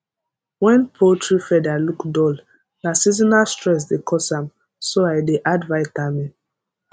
when poultry feather look dull na seasonal stress dey cause am so i dey add vitamin